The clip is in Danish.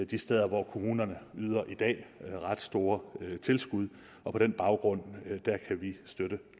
de steder hvor kommunerne i dag yder ret store tilskud og på den baggrund kan vi støtte